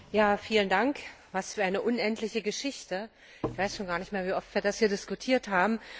Herr Präsident! Was für eine unendliche Geschichte, ich weiß schon gar nicht mehr, wie oft wir das hier diskutiert haben.